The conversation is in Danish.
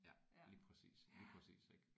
Ja lige præcis lige præcis ik